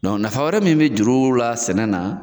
nafa wɛrɛ mun bi juru la sɛnɛ na